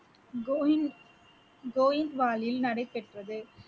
கோவிந்த்~ கோவிந்த்வாலில் நடைபெற்றது